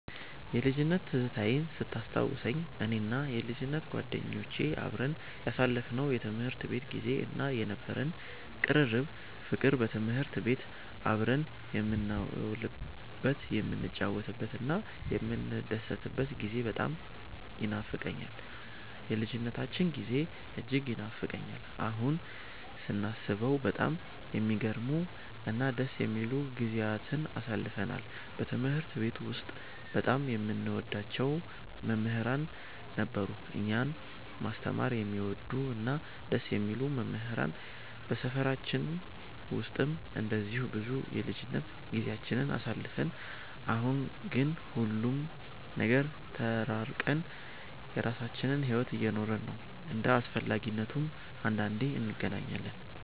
የልጅነት ትዝታዬን ስታስታውሰኝ፣ እኔና የልጅነት ጓደኞቼ አብረን ያሳለፍነው የትምህርት ቤት ጊዜ እና የነበረን ቅርርብ ፍቅር፣ በትምህርት ቤት አብረን የምንውልበት፣ የምንጫወትበትና የምንደሰትበት ጊዜ በጣም ይኖፋቀኛል። የልጅነታችን ጊዜ እጅግ ይናፍቀኛል። አሁን ስናስበው በጣም የሚገርሙ እና ደስ የሚሉ ጊዜያትን አሳልፈናል። በትምህርት ቤት ውስጥ በጣም የምንወዳቸው መምህራን ነበሩን፤ እኛን ማስተማር የሚወዱ እና ደስ የሚሉ መምህራን። በሰፈራችን ውስጥም እንደዚሁ ብዙ የልጅነት ጊዜያትን አሳልፈን፣ አሁን ግን ሁሉም ጋር ተራርቀን የራሳችንን ሕይወት እየኖርን ነው። እንደ አስፈላጊነቱም አንዳንዴ እንገናኛለን።